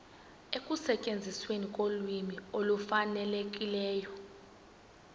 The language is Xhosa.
ekusetyenzisweni kolwimi olufanelekileyo